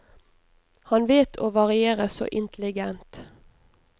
Han vet å variere så intelligent.